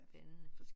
Spændende